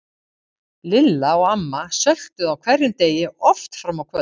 Lilla og amma söltuðu á hverjum degi og oft fram á kvöld.